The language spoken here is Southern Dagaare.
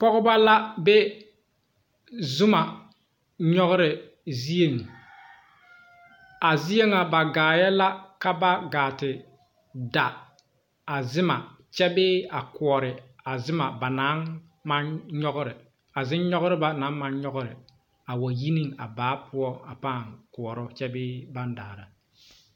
Pɔgba la be zuma nyugre zeɛ a zeɛ nga ba gaaye la ka ba gaati da a zuma kye bee a koɔri a zuma ba nang mang nyugri a zungnyugri ba nang mang nyugri a wa yi ning baa pou paa kouro kye bee bang daara.